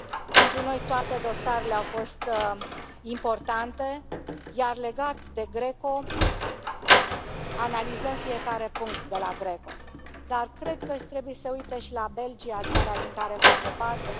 Pentru noi toate dosarele au fost importante, iar legat de GRECO, analizăm fiecare punct de la GRECO, dar cred că trebuie să se uite și la Belgia, țara din care face parte.